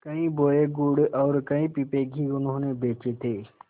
कई बोरे गुड़ और कई पीपे घी उन्होंने बेचे थे